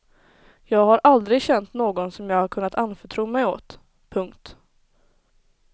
Jag har aldrig känt någon som jag har kunnat anförtro mig åt. punkt